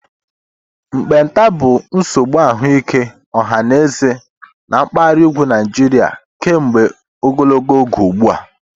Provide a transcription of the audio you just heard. Mkpenta bụ nsogbu ahụike ọha na eze na mpaghara ugwu Nigeria kemgbe ogologo oge ugbu a.